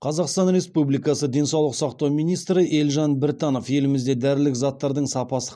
қазақстан республикасы денсаулық сақтау министрі елжан біртанов елімізде дәрілік заттардың сапасы